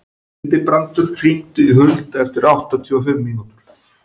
Hildibrandur, hringdu í Huld eftir áttatíu og fimm mínútur.